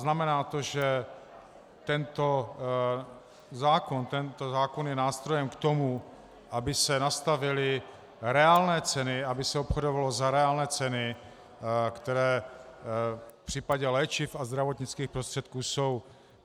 Znamená to, že tento zákon je nástrojem k tomu, aby se nastavily reálné ceny, aby se obchodovalo za reálné ceny, které v případě léčiv a zdravotnických prostředků jsou.